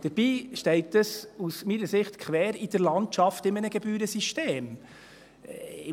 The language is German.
Dabei steht das, meiner Ansicht nach, in einem Gebührensystem quer in der Landschaft.